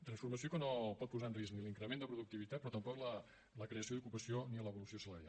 transformació que no pot posar en risc l’increment de productivitat però tampoc la creació d’ocupació ni l’evolució salarial